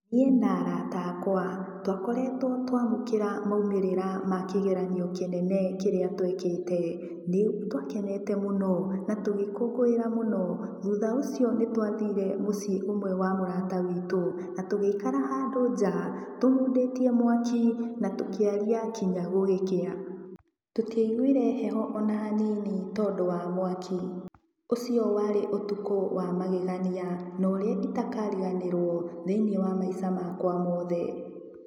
Niĩ na arata akwa, twa koretwo twa amũkĩra maumĩrĩra ma kĩgeranio kĩnene kĩrĩa twekĩte. Nĩ twakeneta mũno, na tũgĩkũngũĩra mũno. Thutha ũcio nĩ twathire mũciĩ ũmwe wa mũrata witũ, na tũgĩikara handũ nja tũmundĩtie mwaki, na tũkĩaria nginya gũgĩkĩa. Tũtiaiguire heho ona hanini tondũ wa mwaki. Ũcio warĩ ũtũkũ wa magegania, na ũrĩa itakariganĩrwo, thĩiniĩ wa maica makwa mothe.